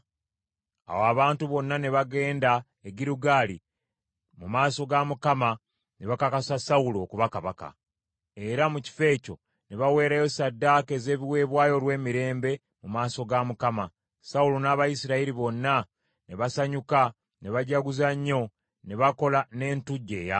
Awo abantu bonna ne bagenda e Girugaali mu maaso ga Mukama ne bakakasa Sawulo okuba kabaka. Era mu kifo ekyo ne baweerayo ssaddaaka ez’ebiweebwayo olw’emirembe mu maaso ga Mukama , Sawulo n’Abayisirayiri bonna ne basanyuka ne bajaguza nnyo ne bakola n’entujjo ey’amaanyi.